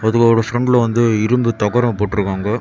இதுகளோட ஒரு சந்துல வந்து இரும்பு தகரம் போட்டுருகாங்க.